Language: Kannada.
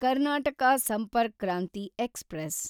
ಕರ್ನಾಟಕ ಸಂಪರ್ಕ್ ಕ್ರಾಂತಿ ಎಕ್ಸ್‌ಪ್ರೆಸ್